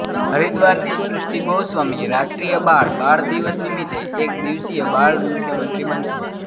હરિદ્વારની સૃષ્ટિ ગોસ્વામી રાષ્ટ્રીય બાળ બાળ દિવસ નિમિત્તે એક દિવસીય બાળ મુખ્યમંત્રી બનશે